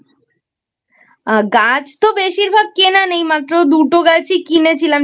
গাছ তো বেশিরভাগ কেনা নেই মাত্র দুটো গাছই কিনেছিলাম